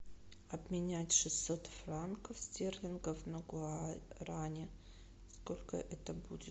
обменять шестьсот франков стерлингов на гуарани сколько это будет